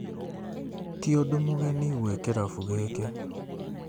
Ti ũndũ mũgeni gwĩ kĩrabu gĩkĩ